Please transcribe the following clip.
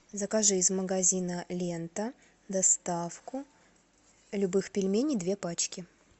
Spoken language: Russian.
закажи из магазина лента доставку любых пельменей две пачки